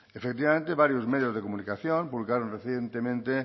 efectivamente varios medios de comunicación publicaron recientemente